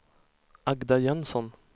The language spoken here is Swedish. Agda Jönsson